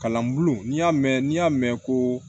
Kalan bulon n'i y'a mɛn n'i y'a mɛn ko